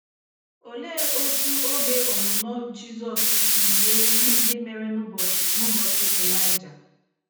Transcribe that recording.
Olee otú oge ọnụnọ Jizọs si yie ihe ndị mere n’ụbọchị n’ụbọchị Elijah?